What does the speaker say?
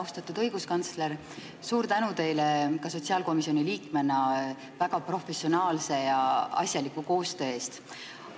Austatud õiguskantsler, tänan sotsiaalkomisjoni liikmena teid väga professionaalse ja asjaliku koostöö eest!